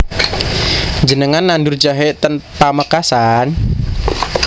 Njenengan nandur jahe ten Pamekasan?